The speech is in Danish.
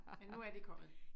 Men nu er de kommet